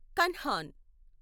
Kanhan